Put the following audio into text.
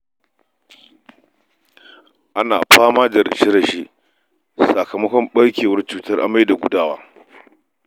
Ana fama da rashe-rashe sakamakon ɓarkewar cutar amai da gudawa.